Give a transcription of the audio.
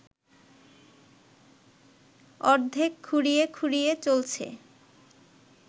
অর্ধেক খুঁড়িয়ে খুঁড়িয়ে চলছে